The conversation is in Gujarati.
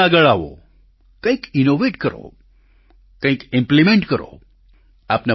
આપ પણ આગળ આવો કંઈક ઈનોવેટ કરો કંઈક ઈમ્પ્લિમેન્ટ કરો